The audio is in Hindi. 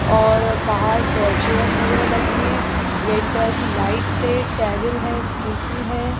और बाहर अह चेयर्स वगैरह लगी हैं रेड कलर की लाइट्स है टेबल है कुर्सी हैं।